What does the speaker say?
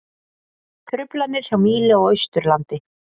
Truflanir hjá Mílu á Austurlandi